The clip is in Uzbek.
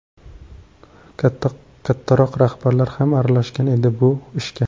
Kattaroq rahbarlar ham aralashgan edi bu ishga.